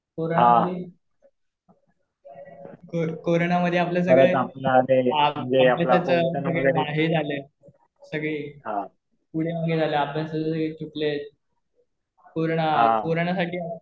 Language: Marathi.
कोरोना मध्ये आपलं हे आपलं कसं सगळं हे झालंय. सगळे वगैरे आले. अभ्यासाला सगळे तुटलेत. कोरोना साठी,